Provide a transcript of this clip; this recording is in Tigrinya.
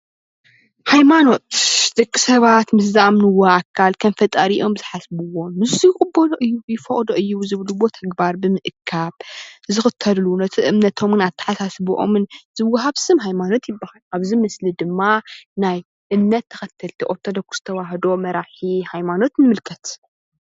ሃይመኖት፡- ደቂ ሰባት ምስ ዝኣምንዎ ኣካል ከም ፈጣሪ ዝሓስብዎን ንሱ ይፈቅዶ እዩ ይቅበሎ እዩ ዝብልዎ ተግባር ብምእካብ ዝክተልሉ ነቲ እምነቶምን ኣተሓሳስብኦምን ዝወሃብ ስም ሃይማኖት ይባሃል፡፡ ኣብዚ ምስሊ ድማ ናይ እምነት ተከተልቲ ኦርተዶክ ተዋህዶ መራሒ ሃማኖት ንምልከት፡፡